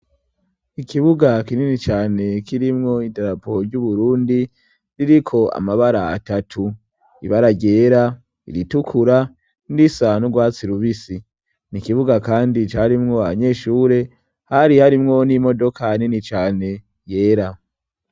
Ikibuga kinini cane kirimwo idarapo ry'Uburundi ririko amabara atatu. Ibara ryera, iritukura, irindi risa n'urwatsi rubisi n'ikibuga kandi carimwo abanyeshure, hari harimwo n'imodoka nini cane yera.